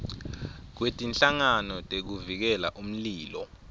kwetinhlangano tekuvikela umlilo